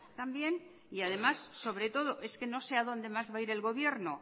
también y además sobre todo es que no sé a dónde más va a ir el gobierno